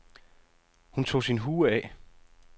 Hun tog sin hue af.